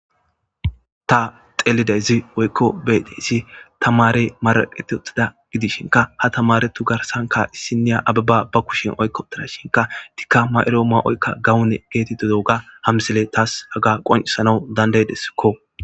Ta xeelidayzi woykko bdiysi tamare maraqati ottida gidishinka ha tamaretu garsanka issiniya ababa ba kushin oykko darashinka dikka mayro ma'oykka gawune geetito doga hamsile taas haga qonisanawu dandaydessikko.